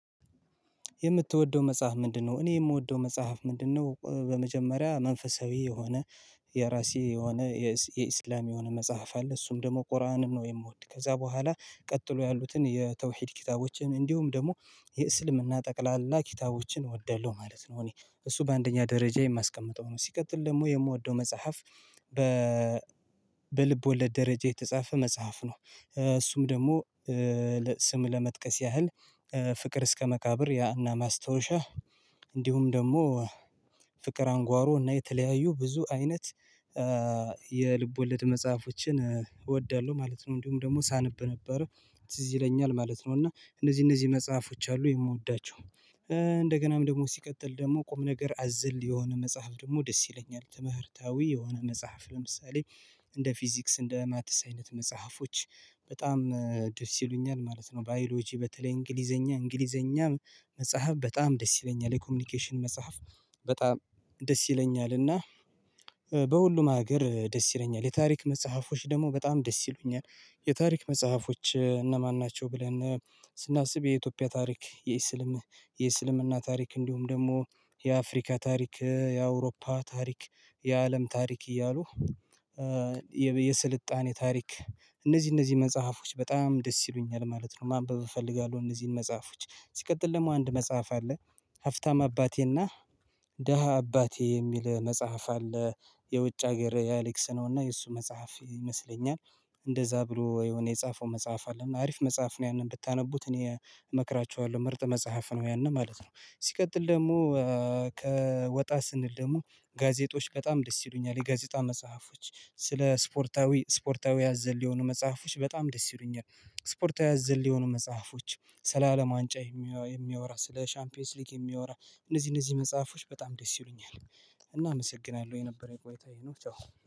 የምትወደው መጽሐፍ ምንድነው? እኔ የምወደው መጽሐፍ ምንድነው በመጀመሪያ መንፈሳዊ የሆነ የራሴ የሆነ የእስልምና የሆነ መጽሐፍ አለ እሱም ደግሞ ቁርአንን ነው የምወድ። ከዛ በኋላ ቀጥሎ ያሉትን የተወሂድ ኪታቦችን እንዲሁም ደግሞ የእስልምና ጠቅላላ ኪታቦችን እወዳለሁ ማለት ነው። እኔ እሱ በአንደኛ ደረጃ የማስቀምጠው ነው። ሲቀጥል ደግሞ የምወደው መጽሐፍ በ በልብ ወለድ ደረጃ የተጻፈ መጽሐፍ ነው። እሱም ደግሞ ስም ለመጥቀስ ያህል ፍቅር እስከመካብር የአና ማስታወሻ እንዲሁም ደግሞ ፍቅር አንጓሮ እና የተለያዩ ብዙ አይነት የልብ ወለድ መጽሐፎችን እወዳለሁ ማለት ነው። እንዲሁም ደግሞ ሳነብ ነበረ ትዝ ይለኛል ማለት ነው እና እነዚህ እነዚህ መጽሐፎች አሉ የምወዳቸው። እንደገናም ደግሞ ሲቀጥል ደግሞ ቁም ነገር አዝል የሆነ መጽሐፍ ደግሞ ደስ ይለኛል ትምህርታዊ የሆነ መጽሐፍ ለምሳሌ እንደ ፊዚክስ እንደ ማትስ አይነት መጽሐፎች በጣም ደስ ይሉኛል ማለት ነው። ባዮሎጂ በተለይ እንግሊዘኛ እንግሊዘኛ መጽሐፍ በጣም ደስ ይለኛል የኮሚኒኬሽን መጽሐፍ በጣም ደስ ይለኛል እና በሁሉም ሀገር ደስ ይለኛል የታሪክ መጽሐፎች ደግሞ በጣም ደስ ይሉኛል። የታሪክ መጽሐፎች እነማን ናቸው ብለን ስናስብ የኢትዮጵያ ታሪክ የእስልም የእስልምና ታሪክ እንዲሁም ደግሞ የአፍሪካ ታሪክ የአውሮፓ ታሪክ የአለም ታሪክ እያሉ የስልጣኔ ታሪክ እነዚህ እነዚህ መጽሐፎች በጣም ደስ ይሉኛል ማለት ነው። ማንበብ እፈልጋለሁ እነዚህን መጽሐፎች ሲቀጥል ደግሞ አንድ መጽሐፍ አለ። ሀብታም አባቴና ደሃ አባቴ የሚል መጽሐፍ አለ። የውጭ ሀገር የአሌክስ ነውና የእሱ መጽሐፍ ይመስለኛል። እንደዛ ብሎ የሆነ የጻፈው መጽሐፍ አለና አሪፍ መጽሐፍ ነው ያንን ብታነቡት እኔ እመክራችኋለሁ ምርጥ መጽሐፍ ነው። ያን ማለት ነው። ሲቀጥል ደግሞ ከወጣ ስንል ደግሞ ጋዜጦች በጣም ደስ ይሉኛል የጋዜጣ መጽሐፎች ስለ ስፖርታዊ ስፖርታዊ አዘል የሆኑ መጽሐፎች በጣም ደስ ይሉኛል። ስፖርታዊ አዘል የሆኑ መጽሐፎች ስለ አለም ዋንጫ የሚያወራ ስለ ሻምፒዮንስ ሊግ የሚያወራ እነዚህ እነዚህ መጽሐፎች በጣም ደስ ይሉኛል። እናመሰግናለሁ የነበረው የቆይታ ይሄ ነው ቻው።